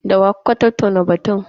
Da wa kuka tattauna batun?